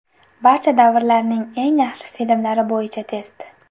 Barcha davrlarning eng yaxshi filmlari bo‘yicha test.